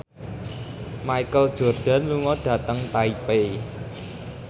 Michael Jordan lunga dhateng Taipei